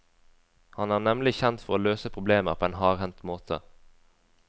Han er nemlig kjent for å løse problemer på en hardhendt måte.